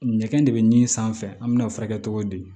Ɲɛgɛn de bɛ nin sanfɛ an mɛna o furakɛ cogo di